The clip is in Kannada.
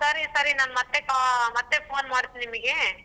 ಸರಿ ನಾನ್ ಮತ್ತೆ ca~ phone ಮಾಡ್ತೀನಿ ನಿಮ್ಗೆ.